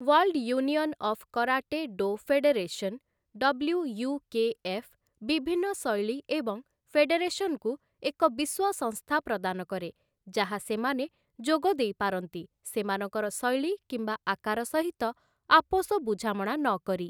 World union of karate do federation, WUKF. ବିଭିନ୍ନ ଶୈଳୀ ଏବଂ ଫେଡେରେସନ୍‌କୁ ଏକ ବିଶ୍ୱ ସଂସ୍ଥା ପ୍ରଦାନ କରେ ଯାହା ସେମାନେ ଯୋଗ ଦେଇପାରନ୍ତି, ସେମାନଙ୍କର ଶୈଳୀ କିମ୍ବା ଆକାର ସହିତ ଆପୋଷ ବୁଝାମଣା ନକରି ।